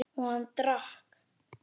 Og hann drakk.